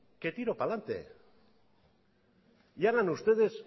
que tiro para delante y hagan ustedes